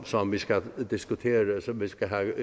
som vi skal diskutere og som vi skal have